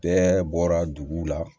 Bɛɛ bɔra dugu la